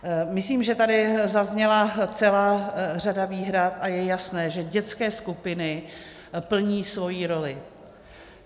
Myslím, že tady zazněla celá řada výhrad, a je jasné, že dětské skupiny plní svoji roli.